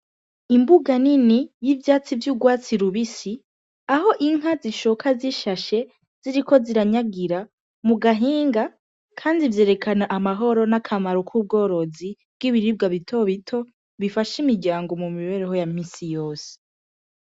Imbuga nini y'ivyatsi vy'urwatsi rubisi, aho inka zishoka zishashe ziriko ziranyagiira mu gahinga kandi vyerekana amahoro n'akamaro k'ubworozi bw'ibiribwa bito bito bifasha imiryango mu mibereho ya minsi yose.